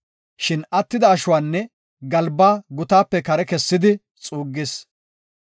Shin attida ashuwanne galbaa gutaape kare kessidi xuuggis.